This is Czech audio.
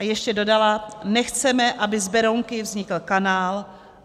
A ještě dodala: "Nechceme, aby z Berounky vznikl kanál.